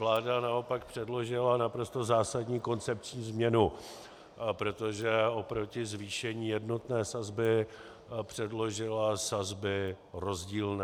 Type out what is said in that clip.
Vláda naopak předložila naprosto zásadní koncepční změnu, protože oproti zvýšení jednotné sazby předložila sazby rozdílné.